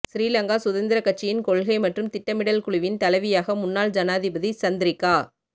ஸ்ரீலங்கா சுதந்திர கட்சியின் கொள்கை மற்றும் திட்டமிடல் குழுவின் தலைவியாக முன்னாள் ஜானாதிபதி சந்திரிக்கா